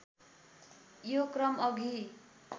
यो क्रम अघि